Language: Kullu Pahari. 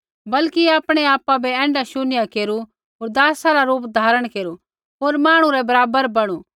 बल्कि आपणै आपा बै ऐण्ढा शून्य केरू होर दासा रा रूप धारण केरू होर मांहणु रै बराबर बणु